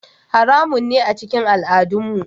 Haramun ne a cikin al'adunmu.